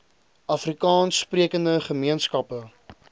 afrikaans sprekende gemeenskappe